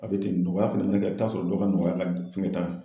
A be ten nɔgɔya fɛnɛ mɛnɛ kɛ i bi taa'a sɔrɔ dɔ ka nɔgɔya ka fɛn ne ta kan